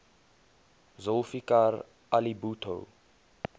zulfikar ali bhutto